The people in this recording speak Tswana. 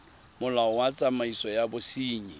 molao wa tsamaiso ya bosenyi